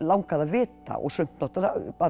langaði að vita sumt náttúrulega